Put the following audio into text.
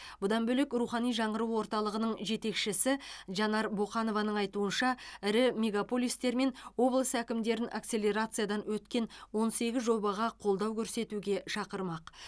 бұдан бөлек рухани жаңғыру орталығының жетекшісі жанар боқанованың айтуынша ірі мегаполистер мен облыс әкімдерін акселерациядан өткен он сегіз жобаға қолдау көрсетуге шақырмақ